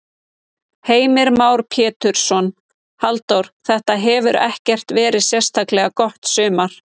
Heimir Már Pétursson: Halldór, þetta hefur ekkert verið sérstaklega gott sumar?